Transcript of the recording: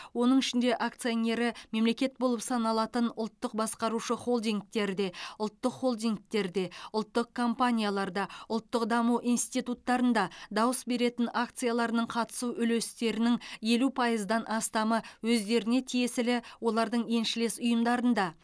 оның ішінде акционері мемлекет болып саналатын ұлттық басқарушы холдингтерде ұлттық холдингтерде ұлттық компанияларда ұлттық даму институттарында дауыс беретін акцияларының қатысу үлестерінің елу пайыздан астамы өздеріне тиесілі олардың еншілес ұйымдарында